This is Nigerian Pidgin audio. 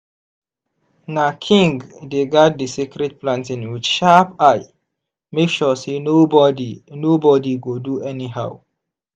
na king dey guard di sacred planting with sharp eye make sure say nobody nobody go do anyhow.